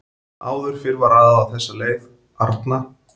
Áður fyrr var raðað á þessa leið: Arna